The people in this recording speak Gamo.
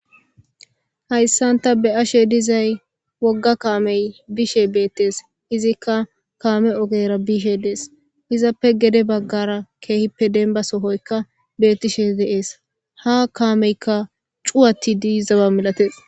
hayssan ta be7ashe dizay wogga kaamey biishe beettees izikka kaame ogera bishe dees izappe gede baggara keehippe denba sohoyka bettishe de7ees ha kaameyka cuwatidii zawa milatees